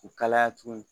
U kalaya tuguni